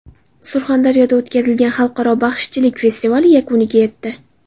Surxondaryoda o‘tkazilgan xalqaro baxshichilik festivali yakuniga yetdi.